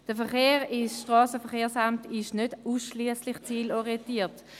Der Verkehr ins Strassenverkehrsamt ist nicht ausschliesslich zielorientiert.